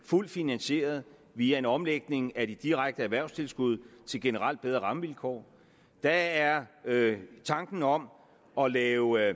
fuldt finansieret via en omlægning af de direkte erhvervstilskud til generelt bedre rammevilkår der er tanken om at lave